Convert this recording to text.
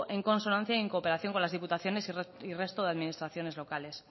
en consonancia y en cooperación con las diputaciones y resto de administraciones locales